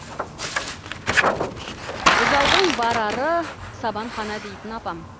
бұзаудың барары сабанхана дейтін апам